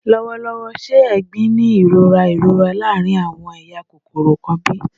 Lọwọlọwọ, ṣe "egbin" ni irora irora laarin awọn eya kokoro kan bi?